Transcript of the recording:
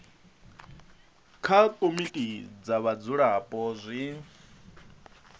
kha komiti dza vhadzulapo zwi